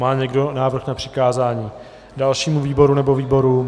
Má někdo návrh na přikázání dalšímu výboru nebo výborům?